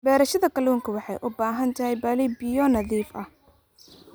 Beerashada kalluunka waxay u baahan tahay balli biyo nadiif ah.